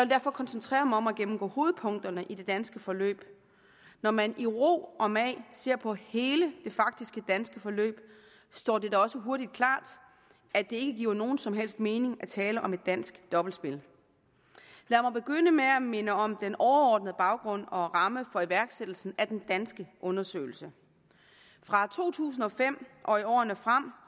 derfor koncentrere mig om at gennemgå hovedpunkterne i det danske forløb når man i ro og mag ser på hele det faktiske danske forløb står det da også hurtigt klart at det ikke giver nogen som helst mening at tale om et dansk dobbeltspil lad mig begynde med at minde om den overordnede baggrund og ramme for iværksættelsen af den danske undersøgelse fra to tusind og fem og i årene frem